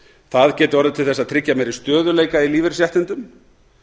það geti orðið til þess að tryggja meiri stöðugleika í lífeyrisréttindum